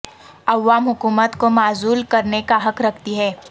عوام حکومت کو معزول کرنے کا حق رکھتی ہے